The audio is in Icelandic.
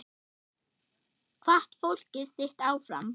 Hvatti fólkið sitt áfram.